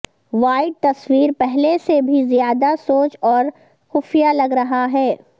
white تصویر پہلے سے بھی زیادہ سوچ اور خفیہ لگ رہا ہے